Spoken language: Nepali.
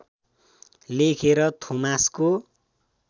लेखेर थोमासको